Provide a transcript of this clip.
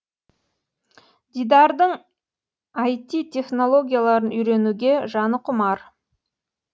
дидардың іт технологияларын үйренуге жаны құмар